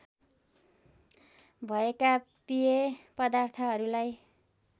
भएका पेय पदार्थहरूलाई